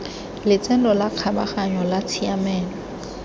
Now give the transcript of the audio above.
lotseno la kgabaganyo la tshiamelo